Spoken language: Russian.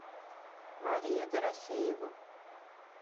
марию дорофееву